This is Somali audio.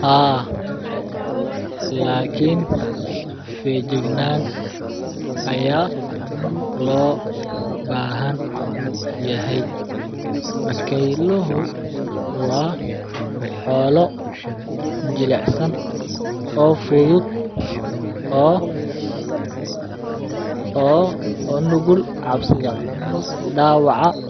Haa lakin fejignan lo bahan yahay bakeyluhu waa xolo jilacsan oo fudud oo nugul cabsidha dawaca